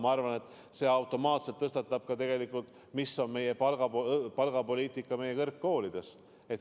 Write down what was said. Ma arvan, et see tõstatab automaatselt küsimuse, milline on palgapoliitika meie kõrgkoolides.